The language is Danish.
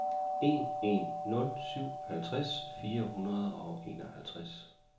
en en nul syv halvtreds fire hundrede og enoghalvtreds